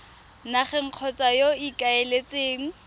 nageng kgotsa yo o ikaeletseng